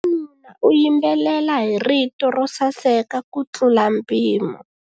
Wanuna u yimbelela hi rito ro saseka kutlula mpimo.